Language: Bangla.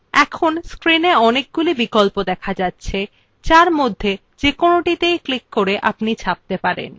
screena অনেকগুলি বিকল্প দেখা যাচ্ছে যার মধ্যে থেকে যেকোনোটিতে ক্লিক করে আপনি ছাপতে পারেন